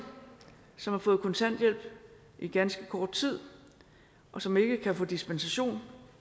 som har fået kontanthjælp i ganske kort tid og som ikke kan få dispensation